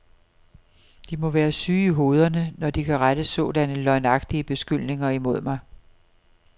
De må være syge i hovederne, når de kan rette sådanne løgnagtige beskyldninger imod mig.